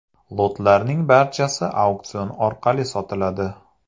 Lotlarning barchasi auksion orqali sotiladi.